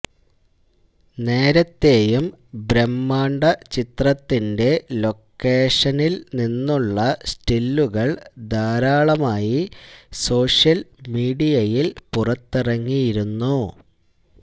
നേരത്തെയും ബ്രഹ്മാണ്ഡ ചിത്രത്തിന്റെ ലൊക്കേഷനില് നിന്നുളള സ്റ്റിലുകള് ധാരാളമായി സോഷ്യല് മീഡിയയില് പുറത്തിറങ്ങിയിരുന്നു